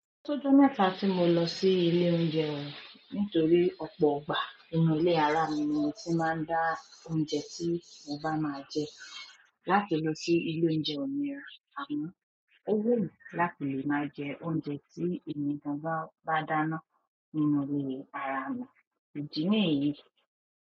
Tódó mẹ́ta tí mo lọ sí ilé oúnjẹ o nítorí ọ̀pọ̀ ọgbà inú ilé ara mi ni tí máa ń dà oúnjẹ tí mo bá máa jẹ. Láti lọ sí ilé oúnjẹ ọ̀ún mìíràn, àmọ́ ó wù mí láti lè máa jẹ oúnjẹ tí ẹ̀mí gan ba bá dáná nínú ilé ara mi, ìdí nìyí.